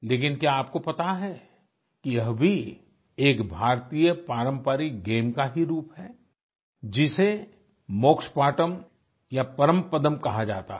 लेकिन क्या आपको पता है कि यह भी एक भारतीय पारंपरिक गेम का ही रूप है जिसे मोक्ष पाटम या परमपदम कहा जाता है